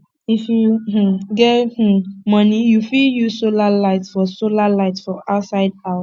if you um get um money you fit use solar light for solar light for outside house